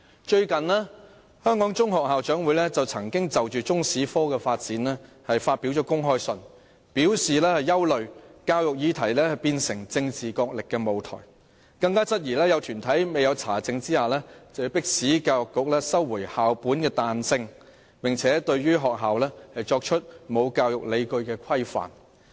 最近，香港中學校長會曾就中史科的發展發表公開信，表示憂慮教育議題變成政治角力的舞台，更質疑有團體未經查證便迫使教育局不准許學校作彈性安排，並對學校作出沒有教育理據的規範。